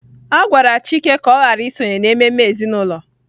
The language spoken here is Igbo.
A gwara Chike ka ọ ghara isonye n'ememe ezinụlọ.